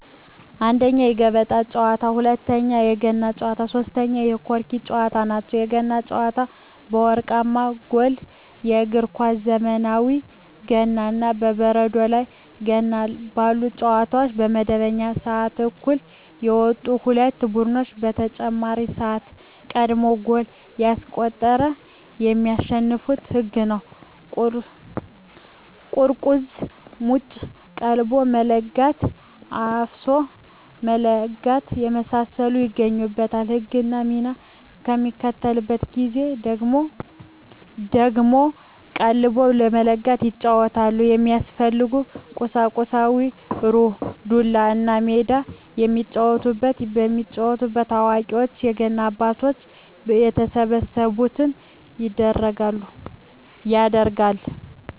1ኛ, የገበጣ ጨዋታ, 2ኛ, የገና ጨዋታ, 3ኛ የቆርኪ ጨዋታ ናቸው። የገና ጨዋታ የወርቃማ ጎል በእግር ኳስ ዘመናዊ ገና እና የበረዶ ላይ ገና ባሉ ጨዋታዎች በመደበኛው ስዓት እኩል የወጡ ሁለት ቡድኖች በተጨማሪ ስዓት ቀድሞ ጎል ያስቆጠረ የሚያሸንፋበት ህግ ነው ቁርቁዝ ሙጭ ,ቀልቦ መለጋት ,አፍሶ መለጋት የመሳሰሉት ይገኙበታል። ህግና ሚና በሚከበርበት ጊዜ ደግሞ ቀልቦ በመለጋት ይጫወቱታል። የሚያስፈልጉ ቁሳቁስ ሩር, ዱላ, እና ሜዳ የሚጫወቱበት። የሚጫወተው አዋቂዎች የገና አባቶች በተሰበሰቡበት ይደረጋል።